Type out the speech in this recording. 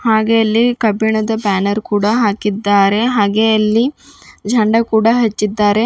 ಹಾಗೆ ಅಲ್ಲಿ ಕಬ್ಬಿಣದ ಬ್ಯಾನರ್ ಕೂಡ ಹಾಕಿದ್ದಾರೆ ಹಾಗೆ ಅಲ್ಲಿ ಜಂಡ ಕೂಡ ಹಚ್ಚಿದ್ದಾರೆ.